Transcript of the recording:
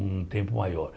um tempo maior.